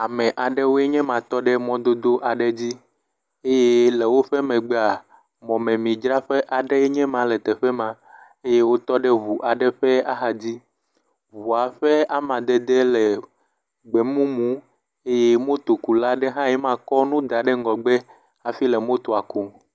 Ame aɖewoe nye ma to ɖe mododo aɖe dzi eye le woƒe megbea, mɔmemi adzraƒe aɖe enye ma le teƒe ma, eye wotɔ ɖe ŋu aɖe ƒe axa dzi, ŋua ƒe amadedee le gbe mumu eye motokula ɖe hãe ma kɔ nu da ɖe ŋgɔgbe hafi le motoa kum